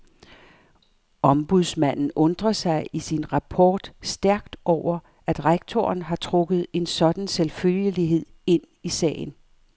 Ombudsmanden undrer sig i sin rapport stærkt over, at rektoren har trukket en sådan selvfølgelighed ind i sagen.